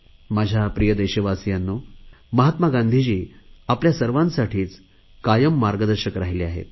माझ्या प्रिय देशवासियांनो महात्मा गांधींजी आपल्या सर्वांसाठीच कायम मार्गदर्शक राहिले आहेत